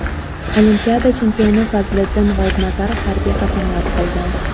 Olimpiada chempioni Fazliddin G‘oibnazarov harbiy qasamyod qildi.